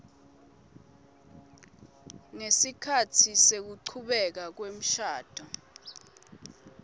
ngesikhatsi sekuchubeka kwemshado